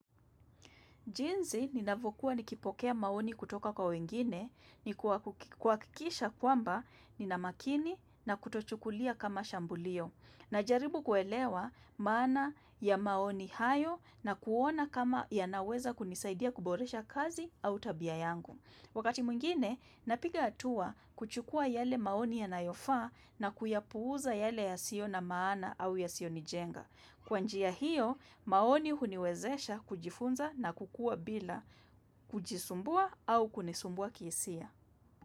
Jisi ninavyokuwa nikipokea maoni kutoka kwa wengine, ni kuhakikisha kwamba nina makini na kutochukulia kama shambulio. Najaribu kuelewa maana ya maoni hayo na kuona kama yanaweza kunisaidia kuboresha kazi au tabia yangu. Wakati mwingine, napiga hatua kuchukua yale maoni yanayofaa na kuyapuuza yale yasio na maana au yasionijenga. Kwanjia hiyo, maoni huniwezesha kujifunza na kukuwa bila kujisumbua au kunisumbua kihisia.